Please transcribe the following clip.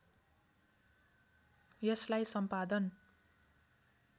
यसलाई सम्पादन